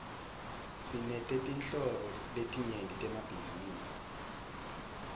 sinetetinhlobo letinyenti temabhizinisi